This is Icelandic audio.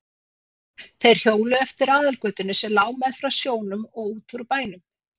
Þeir hjóluðu eftir aðalgötunni sem lá meðfram sjónum og út úr bænum.